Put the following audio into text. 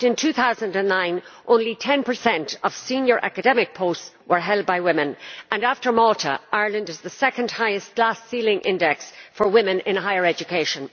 In fact, in 2009 only 10 of senior academic posts were held by women and, after Malta, Ireland has the second highest glass ceiling index for women in higher education.